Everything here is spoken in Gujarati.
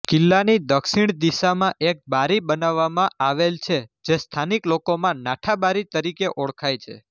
કિલ્લાની દક્ષિણ દિશામાં એક બારી બનાવવામાં આવેલ છે જે સ્થાનિક લોકોમાં નાઠાબારી તરીકે ઓળખાય છે